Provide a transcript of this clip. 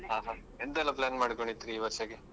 ಎಂತ ಎಲ್ಲ plan ಮಾಡ್ಕೊಂಡಿದ್ರಿ ಈ ವರ್ಷಕ್ಕೆ?